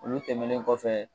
Olu tɛmɛnen kɔfɛ